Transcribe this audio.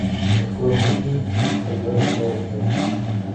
открой мне фильм когда растаял снег